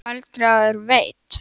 Sindri: Aldrei áður veitt?